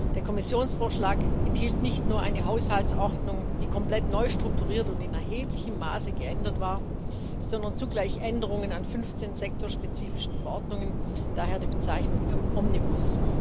Der Kommissionsvorschlag enthielt nicht nur eine Haushaltsordnung, die komplett neu strukturiert und in erheblichem Maße geändert war, sondern zugleich Änderungen an 15 sektorspezifischen Verordnungen daher die Bezeichnung Omnibus.